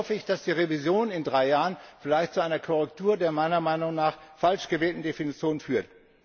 Hier hoffe ich, dass die Revision in drei Jahren vielleicht zu einer Korrektur der meiner Meinung nach falsch gewählten Definition führt.